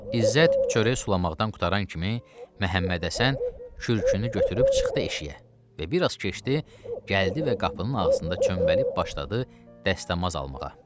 İzzət çörək sulamaqdan qurtaran kimi Məhəmmədhəsən kürkünü götürüb çıxdı eşiyə və bir az keçdi, gəldi və qapının ağzında çöməlib başladı dəstəmaz almağa.